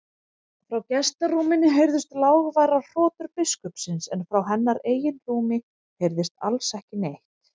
Frá gestarúminu heyrðust lágværar hrotur biskupsins en frá hennar eigin rúmi heyrðist alls ekki neitt.